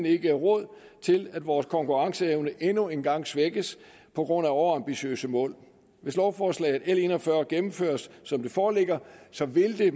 ikke råd til at vores konkurrenceevne endnu en gang svækkes på grund af overambitiøse mål hvis lovforslag l en og fyrre gennemføres som det foreligger så vil det